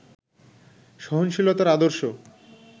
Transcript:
সহনশীলতার আদর্শ